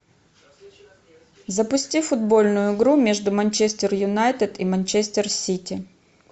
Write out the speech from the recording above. запусти футбольную игру между манчестер юнайтед и манчестер сити